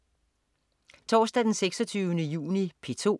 Torsdag den 26. juni - P2: